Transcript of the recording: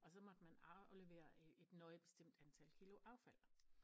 Og så måtte man aflevere et nøje bestemt antal kilo affald